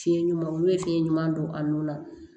Fiɲɛ ɲuman olu ye fiɲɛ ɲuman don a nun na